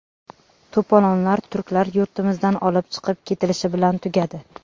To‘polonlar turklar yurtimizdan olib chiqib ketilishi bilan tugadi.